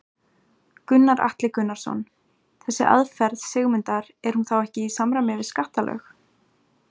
Gunnar Atli Gunnarsson: Þessi aðferð Sigmundar er hún þá ekki í samræmi við skattalög?